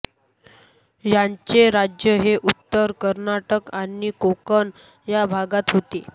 यांचे राज्य हे उत्तर कर्नाटक आणि कोकण या भागात होते